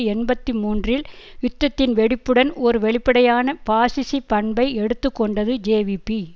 எண்பத்தி மூன்றில் யுத்தத்தின் வெடிப்புடன் ஒரு வெளிப்படையான பாசிச பண்பை எடுத்து கொண்டது ஜேவிபி